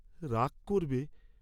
রাগ করবে?